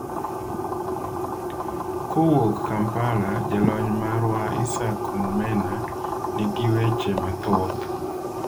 Kowuok Kampala jalony marwa Isaac Mumena nigi weche mathoth.